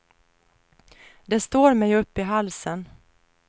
Det står mig upp i halsen.